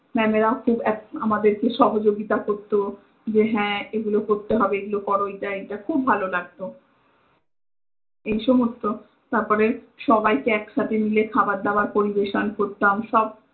mam এরাও আমাদেরকে খুব সহয়গিতা করত যে হ্য এগুলো করতে হবে এগুলো কর, এটা এটা খুব ভালো লাগত এই সমস্ত তারপরে সবাইকে একসাথে মিলে খাবার দাবার পরিবেশন করতাম সব